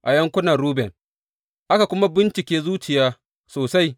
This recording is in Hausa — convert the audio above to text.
A yankunan Ruben aka kuma bincike zuciya sosai.